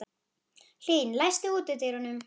Hlín, læstu útidyrunum.